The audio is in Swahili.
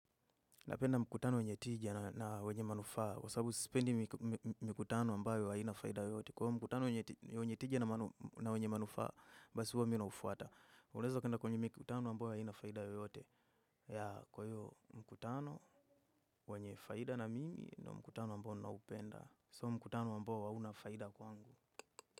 Napenda mkutano wanye tija na wanye manufaa kwa sababu sipendi mikutano ambayo haina faida yoyote. Kwa mkutano wenye tija na wenye manufaa, basi huwa mi naufuata. Unaeza ukaenda kwenye mikutano ambayo haina faida yoyote, kwa hiyo mkutano wanye faida na mimi ndio mkutano ambao naupenda. Sio mkutano ambao hauna faida kwangu.